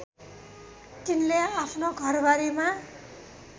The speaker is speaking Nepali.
तिनले आफ्नो घरबारीमा